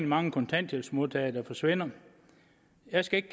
mange kontanthjælpsmodtagere der forsvinder jeg skal ikke